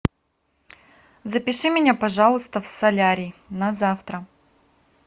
запиши меня пожалуйста в солярий на завтра